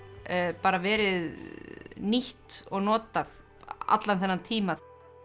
bara verið nýtt og notað allan þennan tíma